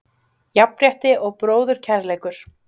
Jafnrétti og bróðurkærleikur.